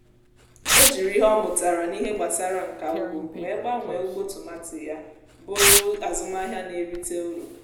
ọ jiri ihe ọ mụtara n’ihe gbasara nka ugbo wee gbanwee ugbo tomati ya bụrụ azụmahịa na-erite uru.